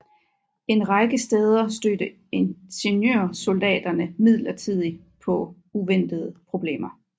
En række steder stødte ingeniørsoldaterne imidlertid på uventede problemer